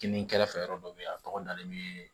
Kini kɛrɛfɛ yɔrɔ dɔ bɛ yen a tɔgɔ dalen bɛ